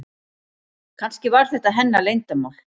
Kannski var þetta hennar leyndarmál.